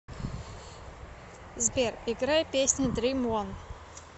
сбер играй песня дрим он